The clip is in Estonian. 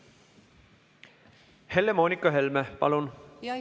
Helle-Moonika Helme, palun!